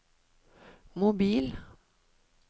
mobil